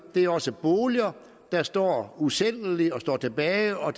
det er også boliger der står usælgelige tilbage og